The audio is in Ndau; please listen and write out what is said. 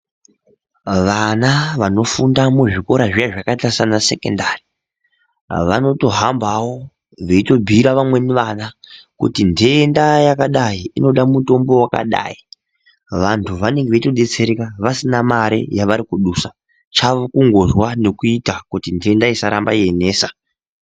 Vana vanofunda muzvikora zviya zvakaita saana sekendari vanotohambawo veitobhuira vamweni vana kuti ndenda yakadai inoda mutombo wakada. Vantu vanenge veitodetsereka vasina mare yavari kudusa. Chavo kundozwa kuti ndenda isaramba yeinesa.